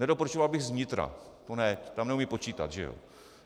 Nedoporučoval bych z vnitra, to ne, tam neumějí počítat, že jo.